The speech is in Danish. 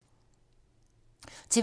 TV 2